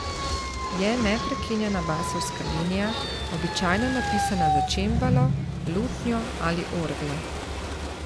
Je neprekinjena basovska linija, običajno napisana za čembalo, lutnjo ali orgle.